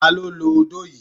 Ta ló ló odó yìí?